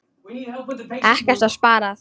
Ekkert var sparað.